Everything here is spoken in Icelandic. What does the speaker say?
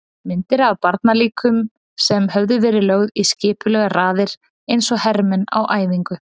Myndir af barnalíkum sem höfðu verið lögð í skipulegar raðir eins og hermenn á æfingu.